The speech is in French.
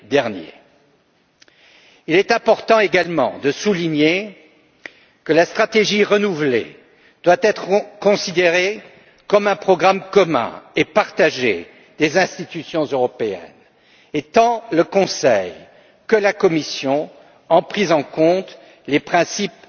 2015. Il est également important de souligner que la stratégie renouvelée doit être considérée comme un programme commun et partagé des institutions européennes, et tant le Conseil que la Commission ont pris en compte les principes